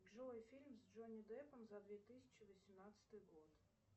джой фильм с джонни деппом за две тысячи восемнадцатый год